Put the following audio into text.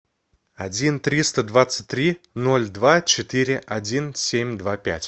один триста двадцать три ноль два четыре один семь два пять